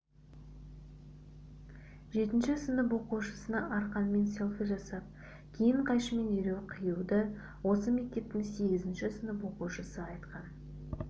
жетінші сынып оқушысына арқанмен селфи жасап кейін қайшымен дереу қиюды осы мектептің сегізінші сынып оқушысы айтқан